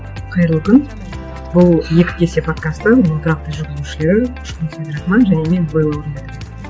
қайырлы күн бұл екі кесе подкасты оның тұрақты жүргізушілері абдрахман және мен белла орынбетова